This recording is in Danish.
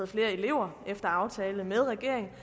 flere elever efter aftale med regeringen